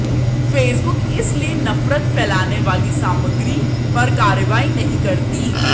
Facebook इसलिए नफरत फैलाने वाली सामग्री पर कार्रवाई नहीं करती